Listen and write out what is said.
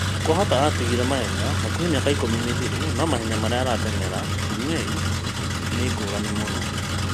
Kwahota atigire mahenya hakuhĩ mĩaka ikũmi mĩthiru no mahenya marĩa ateng’eraga Bungei nĩ ngũrani mũno